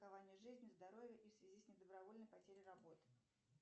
страхование жизни здоровья и в связи с недобровольной потерей работы